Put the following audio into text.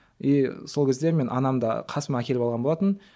и сол кезде мен анамды қасыма әкеліп алған болатынмын